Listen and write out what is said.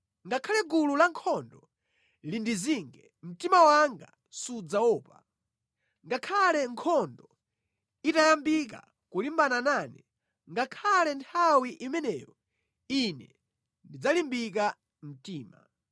Ngakhale gulu lankhondo lindizinge, mtima wanga sudzaopa. Ngakhale nkhondo itayambika kulimbana nane, ngakhale nthawi imeneyo, ine ndidzalimbika mtima.